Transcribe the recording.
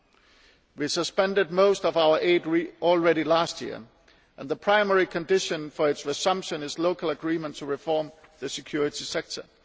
We already suspended most of our aid last year, and the primary condition for its resumption is local agreement to reform the security sector.